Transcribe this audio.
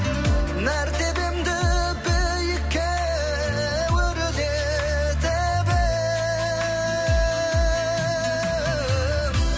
мәртебемді биікке өрлетіп ең